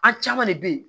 A caman de bɛ ye